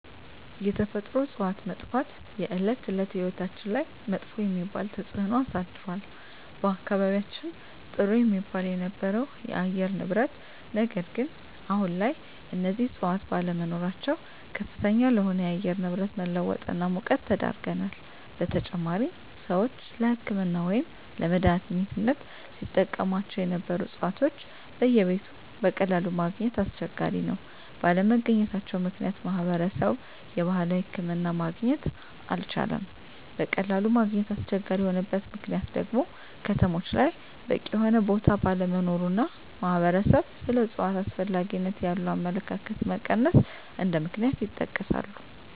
የተፈጥሮ እፅዋት መጥፍት የእለት እለት ህይወታችን ላይመጥፎ የሚባል ተፅእኖ አሳድሮል በአካባቢየችን ጥሩ የሚባል የነበረው የአየር ንብረት ነገር ግን አሁን ላይ እነዚህ እፅዋት ባለመኖራቸው ከፍተኛ ለሆነ የአየር ንብረት መለወጥ እና ሙቀት ተዳርገናል : በተጨማሪም ሰወች ለህክምና ወይም ለመድሐኒትነት ሲጠቀሞቸው ነበሩ እፅዋቶች በየቤቱ በቀላሉ ማገኘት አስቸጋሪ ነው ባለመገኘታቸው ምክንያት ማህበረሰብ የባህላዊ ሕክምና ማግኘት አልቻለም በቀላሉ ማግኘት አስቸጋሪ የሆነበት ምክንያት ደግሞ ከተሞች ላይ በቂ የሆነ ቦታ ባለመኖሩ እና ማህበረሰብ ስለ እፅዋት አስፈላጊነት ያለው አመለካከት መቀነስ እንደ ምክንያት ይጠቀሳሉ።